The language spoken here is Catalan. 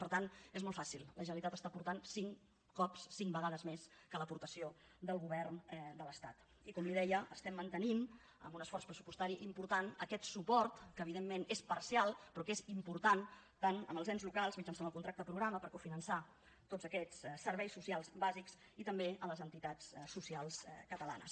per tant és molt fàcil la generalitat està aportant cinc cops cinc vegades més que l’aportació del govern de l’estat i com li deia estem mantenint amb un esforç pressupostari important aquest suport que evidentment és parcial però que és important tant amb els ens locals mitjançant el contracte programa per cofinançar tots aquests serveis socials bàsics i també les entitats socials catalanes